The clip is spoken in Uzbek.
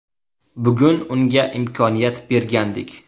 Bugun unga imkoniyat bergandik.